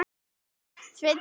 Sveinn farinn út?